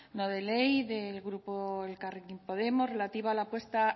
no de ley del grupo elkarrekin podemos relativa a la puesta